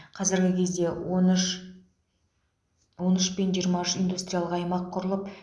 қазіргі кезде он үш он үш пен жиырма үш индустриялық аймақ құрылып